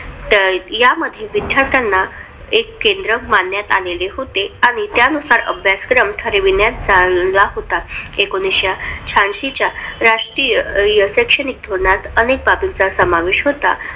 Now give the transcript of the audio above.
या मध्ये विध्यार्थ्यांना एक केंद्र मानन्यात आलेलं होते आणि त्यानुसार अभ्यासक्रम ठरविण्यात आला होता. एकोणविशे शहाऐंशी राष्ट्रीय शैक्षणिक धोरणात अनेक बाबीचा समावेश होता.